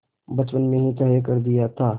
बचपन में ही तय कर दिया था